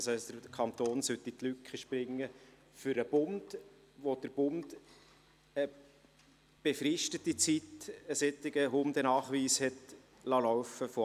Das heisst, der Kanton soll dort für den Bund in die Lücke springen, wo der Bund während einer befristeten Zeit einen solchen Hundenachweis hat laufen lassen.